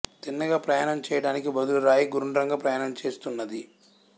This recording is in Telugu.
తిన్నగా ప్రయాణం చెయ్యడానికి బదులు రాయి గుండ్రంగా ప్రయాణం చేస్తున్నాది